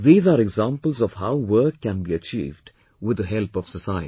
These are examples of how work can be achieved with the help of society